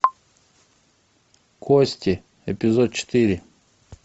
кости эпизод четыре